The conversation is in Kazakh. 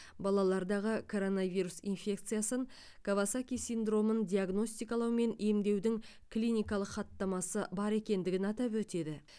балалардағы коронавирус инфекциясын кавасаки синдромын диагностикалау мен емдеудің клиникалық хаттамасы бар екендігін атап өтеді